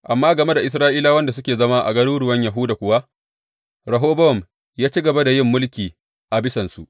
Amma game da Isra’ilawan da suke zama a garuruwan Yahuda kuwa, Rehobowam ya ci gaba da yin mulki a bisansu.